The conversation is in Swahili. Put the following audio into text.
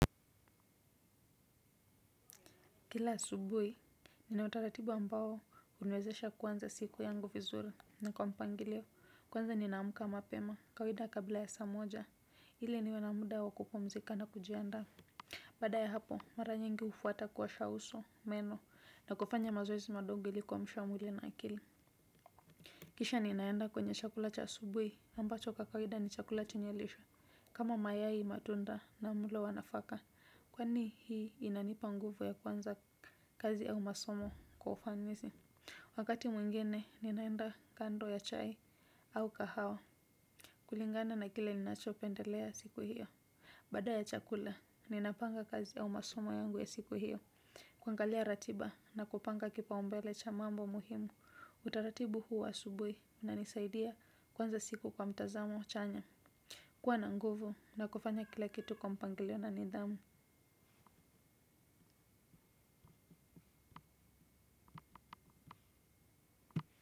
Kila asubuhi, ninautaratibu ambao huniwezesha kuanza siku yangu vizuri. Ni kwa mpangilio, kwanza ninaamka mapema, kawaida kabla ya saa moja, hile niwe na muda wa kupumzika na kujiandaa. Baada ya hapo, mara nyingi hufuata kuosha uso, meno, na kufanya mazoezi madogo ili kuamsha mwili na akili. Kisha ninaenda kwenye chakula cha asubuhi, ambacho kwa kawida ni chakula chenye lishe. Kama mayai matunda na mlo wa nafaka, kwani hii inanipa nguvu ya kuanza kazi au masomo kwa ufanisi. Wakati mwingine, ninaenda kando ya chai au kahawa. Kulingana na kile ninachopendelea siku hiyo. Bada ya chakula, ninapanga kazi ya umasumo yangu ya siku hiyo. Kuangalia ratiba na kupanga kipaumbele cha mambo muhimu. Utaratibu huu wa asubuhi unanisaidia kuanza siku kwa mtazamo chanya. Kuwa na nguvu na kufanya kila kitu kwa mpangilio na nidhamu.